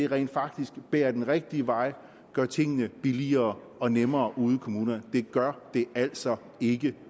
rent faktisk bærer den rigtige vej og gør tingene billigere og nemmere ude i kommunerne det gør det altså ikke